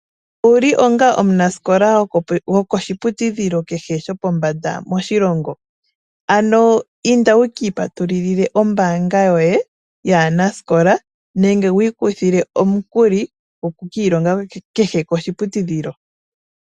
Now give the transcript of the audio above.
Owuli onga omunasikola go koshi putudhilo keshe shopo mbanda moshilongo, ano inda wu kiipatululile ombaanga yoye yaanasikola nenge wu ikuthile omukuli goku kiilonga kehe koshi putudhilo.